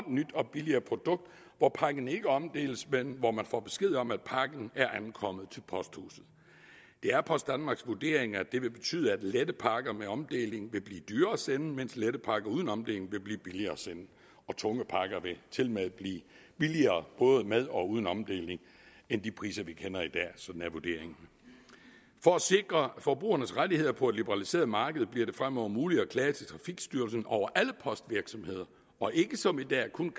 nyt og billigere produkt hvor pakken ikke omdeles men hvor man får besked om at pakken er ankommet til posthuset det er post danmarks vurdering at det vil betyde at lette pakker med omdeling vil blive dyrere at sende mens lette pakker uden omdeling vil blive billigere at sende og tunge pakker vil tilmed blive billigere både med og uden omdeling end de priser vi kender i dag sådan er vurderingen for at sikre forbrugernes rettigheder på et liberaliseret marked bliver det fremover muligt at klage til trafikstyrelsen over alle postvirksomheder og ikke som i dag kun